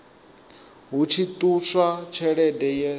hu tshi ṱuswa tshelede ye